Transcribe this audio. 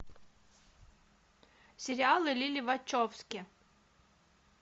сериалы лилли вачовски